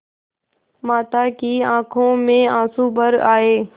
माता की आँखों में आँसू भर आये